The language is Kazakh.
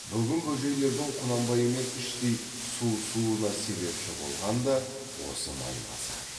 бүгін бөжейлердің құнанбаймен іштей суысуына себепші болған да осы майбасар